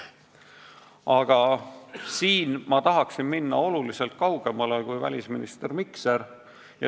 Aga siin ma tahaksin minna oluliselt kaugemale kui välisminister Mikser.